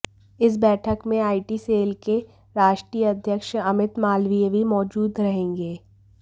इस बैठक में आईटी सेल के राष्ट्रीय अध्यक्ष अमित मालवीय भी मौजूद रहेंगे